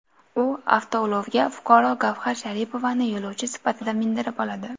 U avtoulovga fuqaro Gavhar Sharipovani yo‘lovchi sifatida mindirib oladi.